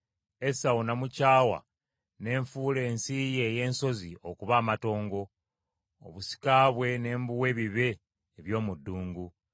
Esawu namukyawa ne nfuula ensi ye ey’ensozi okuba amatongo, obusika bwe ne mbuwa ebibe eby’omu ddungu.”